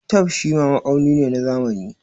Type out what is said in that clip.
Tape shima ma'auni ne na zamani.